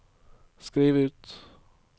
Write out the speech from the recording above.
skriv ut